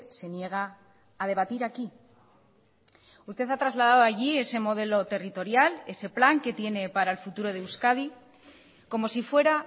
se niega a debatir aquí usted ha trasladado allí ese modelo territorial ese plan que tiene para el futuro de euskadi como si fuera